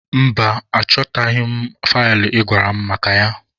Mba, achọtaghị m faịlụ ị gwara m maka ya.